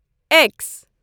x